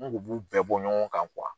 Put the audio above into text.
N kun b'u bɛɛ bɔ ɲɔgɔn kan